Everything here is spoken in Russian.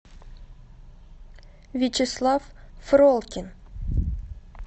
вячеслав фролкин